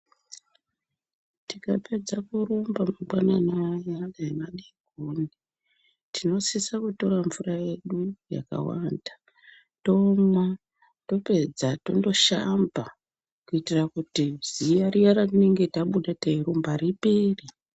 Tika pedza kurumba mangwanani aya ne madekoni tino sisa kutora mvura yedu yaka wanda tomwa tapedza tondo shamba kuitira kuti ziya riya ra tinenge tabuda tei rumba ripere.